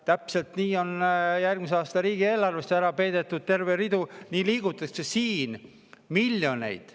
Täpselt nii, nagu on järgmise aasta riigieelarvesse ära peidetud terveid ridu, nii liigutatakse siin miljoneid.